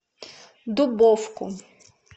дубовку